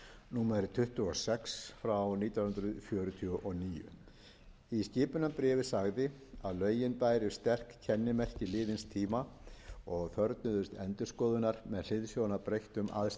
númer tuttugu og sex nítján hundruð fjörutíu og níu í skipunarbréfinu sagði að lögin bæru sterk kennimerki liðins tíma og þörfnuðust endurskoðunar með hliðsjón af breyttum aðstæðum